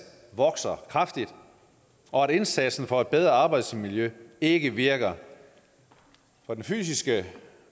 vokser kraftigt og at indsatsen for et bedre arbejdsmiljø ikke virker for den fysiske